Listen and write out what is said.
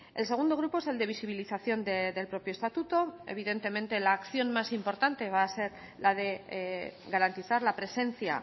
el segundo grupo es el de visibilización del propio estatuto evidentemente la acción más importante va a ser la de garantizar la presencia